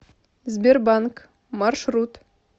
сбербанк маршрут